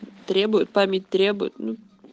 требует память требует ну